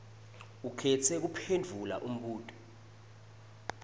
ukhetse kuphendvula umbuto